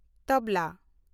ᱛᱚᱵᱞᱟ